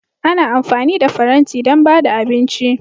Ana amfani da faranti don ba da abinci.